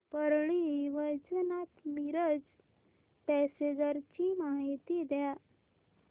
Parli Vaijnath Miraj passenger ची माहिती द्या